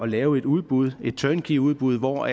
lave et udbud et turnkey udbud hvor